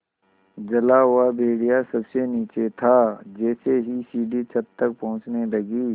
जला हुआ भेड़िया सबसे नीचे था जैसे ही सीढ़ी छत तक पहुँचने लगी